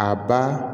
A ba